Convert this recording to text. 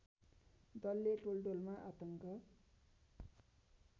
दलले टोलटोलमा आतङ्क